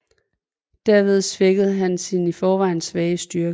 Herved svækkede han sin i forvejen svagere styrke